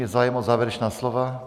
Je zájem o závěrečná slova?